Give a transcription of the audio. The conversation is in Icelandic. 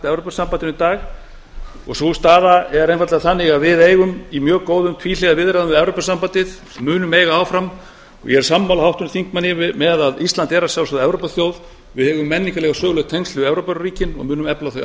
í dag og sú staða er einfaldlega þannig að við eigum í mjög góðum tvíhliða viðræðum við evrópusambandið og munum eiga áfram og ég er sammála háttvirtum þingmanni um að ísland er að sjálfsögðu evrópuþjóð við eigum menningarleg og söguleg tengsl við evrópuríkin og munum að sjálfsögðu efla þau